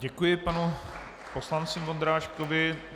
Děkuji panu poslanci Vondráškovi.